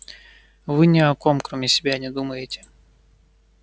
вы ни о ком кроме себя не думаете